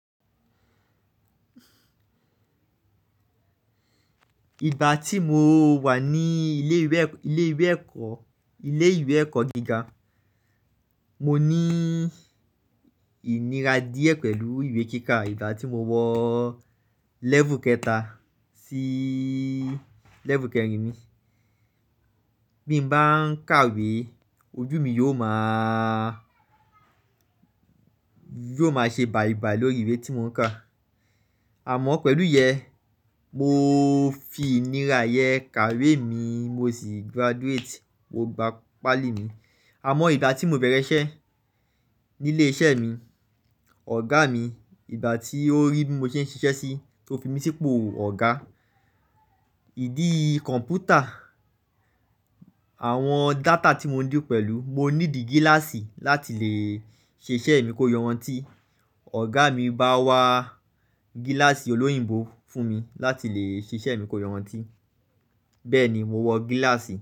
Ìgbà tí mo wà ní ilé ìwé ẹ̀kọ́ gíga, mo ní ìnira díẹ̀ pẹ̀lú ìwé kíkà. Ìgbà tí mo wọ lẹ́vù kẹta sí lẹ́vù kẹrin mi, bí mo bá ń kàwé, ojú mi yóò máa ṣe bàìbàì lórí ìwé tí mò ń kà. Àmọ́ pẹ̀lú iyẹn, mo fi ìnira yẹn kàwé mi mo sì graduate mo gbà páálì mi. Àmọ́ ìgbà tí mò ń bẹ̀rẹ̀ iṣẹ́ ní ilé iṣẹ́ mi, ọ̀gá mi ìgbà tí ó rí bí mo ṣe ń ṣiṣẹ́ sí, tó fi mí sí ipò ọ̀gá. Ìdí kọ̀ǹpútà, àwọn data tí mò ń dì pẹ̀lú, mo ní dì gíláàsì láti lè ṣe iṣẹ́ mi kó yanrantí. Ọ̀gá mi bá wa gíláàsì olóyìnbó fún mi láti lè ṣe iṣẹ́ mi kó yanrantí. Bẹ́ẹ̀ ni mo wọ gíláàsì.